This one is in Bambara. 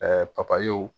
papayew